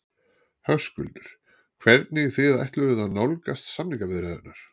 Höskuldur: Hvernig þið ætluðuð að nálgast samningaviðræðurnar?